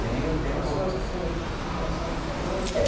Tenho, tenho. Pessoas que o senhor se relaciona até hoje?